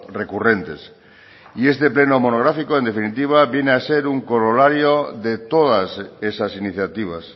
recurrentes y este pleno monográfico en definitiva viene a ser un corolario de todas esas iniciativas